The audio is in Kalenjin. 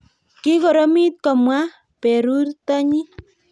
kikoromit komwa perurtonyi